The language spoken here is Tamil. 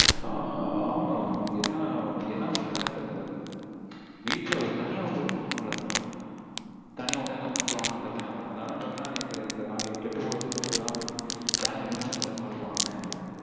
ஆஹ் ஆமா mam. என்ன என்ன பண்றதுனே தெரியல mam வீட்ல தனியா விட்டுட்டுக்கூட தூங்க முடியல. தனியா விட்டா எங்க பாத்திருவாங்களோ அந்த பயம் வேற. அதனாலயே பாத்தீங்கனா இந்த கெட்டு போகக்கூடாதுனு சொல்லிட்டுதா mam channel remove பண்றதுக்கு உங்களுக்கு call பண்ணினோமே